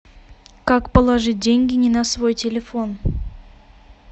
как положить деньги не на свой телефон